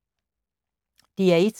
DR1